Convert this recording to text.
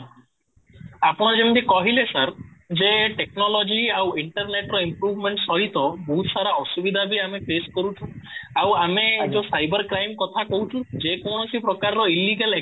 ଆପଣ ଯେମିତି କହିଲେ ସାର ଯେ ଟେକ୍ନୋଲୋଜି ଆଉ ଇଣ୍ଟରନେଟ ର improvement ସହିତ ବହୁତ ସାରା ଅସୁବିଧା ବି ଆମେ face କରୁଛୁ ଆଉ ଆମେ ଯୋଉ ସାଇବର କ୍ରାଇମ କଥା କହୁଚୁ ଯେ କୌଣସି ପ୍ରକାର illegal